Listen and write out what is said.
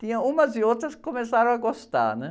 Tinha umas e outras que começaram a gostar, né?